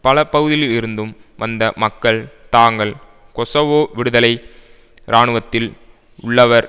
பல பகுதிகளில் இருந்தும் வந்த மக்கள் தாங்கள் கொசவோ விடுதலை இராணுவத்தில் உள்ளவர்